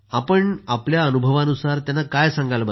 आपण आपल्या अनुभवानुसार त्यांना काय सांगाल